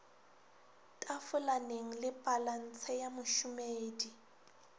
tafolaneng le palantshe ya mošomedi